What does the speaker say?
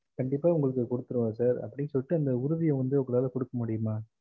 கண்டிப்பா ஒங்களுக்கு வந்து குத்துருவேன் sir அப்டின்னு சொல்லிட்டு அந்த உறுத்திய ஒங்களால குடுக்க முடியும்மா